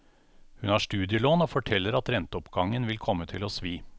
Hun har studielån og forteller at renteoppgangen vil komme til å svi.